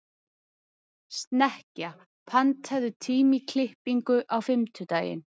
Snekkja, pantaðu tíma í klippingu á fimmtudaginn.